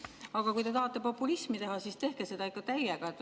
Aga kui te tahate populismi teha, siis tehke seda ikka täiega!